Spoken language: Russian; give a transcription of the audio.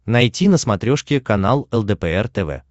найти на смотрешке канал лдпр тв